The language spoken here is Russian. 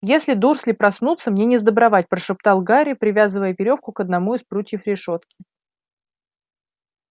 если дурсли проснутся мне несдобровать прошептал гарри привязывая верёвку к одному из прутьев решётки